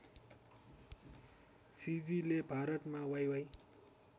सिजीले भारतमा वाइवाइ